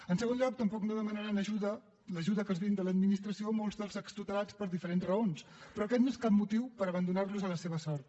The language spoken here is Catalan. en segon lloc tampoc no demanaran ajuda l’ajuda que els brinda l’administració molts dels extutelats per diferents raons però aquest no és cap motiu per abandonar los a la seva sort